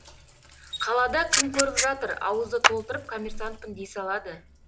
қалада кім көріп жатыр ауызды толтырып коммерсантпын дей салады